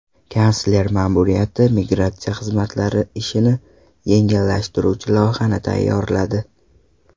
Kansler ma’muriyati migratsiya xizmatlari ishini yengillashtiruvchi loyihani tayyorladi.